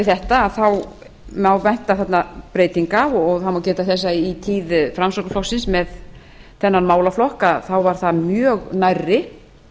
þetta má vænta þarna breytinga og það má geta þess að í tíð framsóknarflokksins með þennan málaflokk var það mjög nærri